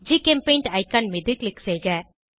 ஜிசெம்பெயிண்ட் icon மீது click செய்க